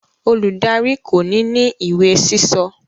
Oludari ko ni ni iwe sísọ.